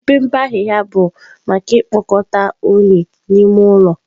Mpempe ahịhịa bụ maka ikpokọta unyi n'ime ụlọ.